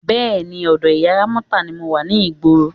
Bé̩è̩ni, ò̩dò̩ ìyá Rámó̩tà ni mo wa ní ìgboro.